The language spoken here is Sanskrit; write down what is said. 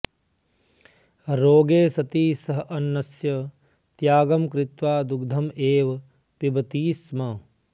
रोगे सति सः अन्नस्य त्यागं कृत्वा दुग्धम् एव पिबति स्म